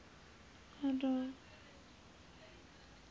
handel